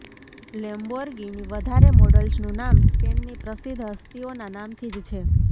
Lamborghini વધારે મોડલ્સનું નામ સ્પેનની પ્રસિદ્ધ હસ્તીઓના નામથી જ છે